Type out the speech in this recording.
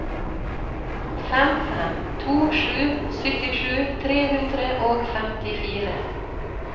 fem fem to sju syttisju tre hundre og femtifire